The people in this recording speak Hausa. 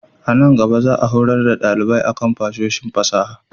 A nan gaba, za a horar da dalibai a kan fasahohin fasaha.